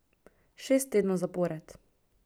Šest tednov zapored.